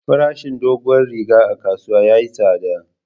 Farashin doguwar riga a kasuwa yayi tsada.